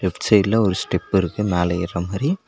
Left சைட்ல ஒரு step இருக்கு மேல ஏர்றமாரி.